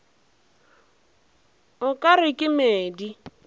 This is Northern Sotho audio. o ka re ke medi